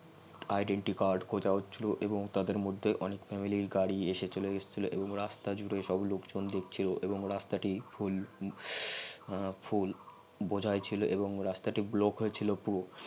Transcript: accident টি card কথা হছিল এবং তাদের মধ্যে অনেক family র গারি চলে এসছিল এবং রাস্তা জুরে সব লোক জন দেখছিল এবং রাস্তা জুরে সব লোক জন দেখছিল এবং রাস্তা টি ফুল বোঝাই ছিল আবগ্ন রাস্তাটি block হয়ে ছিল খুব